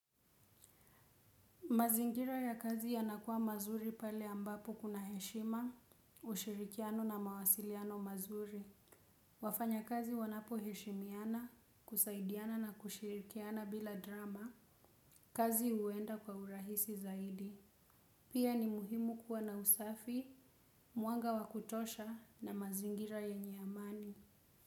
Mazingira ya kazi yanakuwa mazuri pale ambapo kuna heshima, ushirikiano na mawasiliano mazuri. Wafanya kazi wanapo heshimiana, kusaidiana na kushirikiana bila drama, kazi huenda kwa urahisi zaidi. Pia ni muhimu kuwa na usafi, mwanga wakutosha na mazingira yenye amani.